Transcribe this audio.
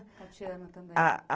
Ah Ah